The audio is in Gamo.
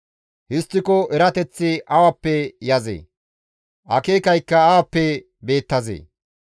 «Histtiko erateththi awappe yazee? Akeekaykka awappe beettazee?